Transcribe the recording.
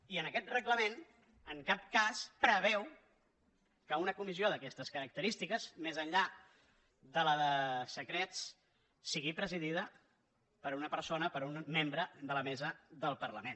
i aquest reglament en cap cas preveu que una comis·sió d’aquestes característiques més enllà de la de se·crets sigui presidida per una persona per un membre de la mesa del parlament